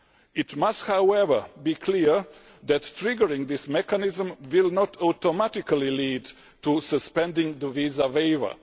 It must, however, be clear that triggering this mechanism will not automatically lead to suspending the visa waiver.